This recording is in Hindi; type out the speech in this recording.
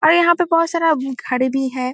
अरे यहाँ पे बोहोत सारा हम्म घर भी है।